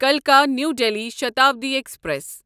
کَلکا new Delhi Shatabdi express